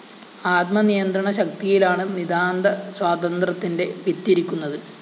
ആത്മനിയന്ത്രണ ശക്തിയിലാണ്‌ നിതാന്ത സ്വാതന്ത്ര്യത്തിന്റെ വിത്തിരിക്കുന്നത്‌